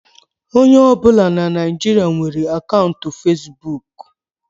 Onye ọbụna na Naịjirịa nwere akaụntụ fesbụụk.